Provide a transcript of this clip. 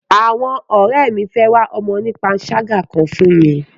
Àwọn ọ̀rẹ́ mi fẹ́ wá ọmọ onípanṣágà kan fún mi.